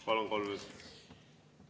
Palun, kolm minutit!